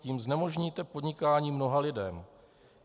Tím znemožníte podnikání mnoha lidem.